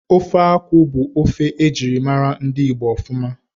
Ofe akwụ bụ ofe ejirimara ndị Igbo ofuma